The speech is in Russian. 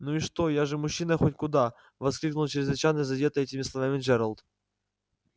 ну и что я же мужчина хоть куда воскликнул чрезвычайно задетый этими словами джералд